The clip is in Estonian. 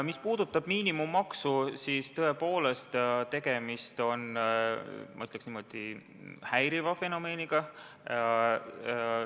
Mis puudutab miinimummaksu, siis tõepoolest on tegemist, ma ütleks niimoodi, häiriva fenomeniga.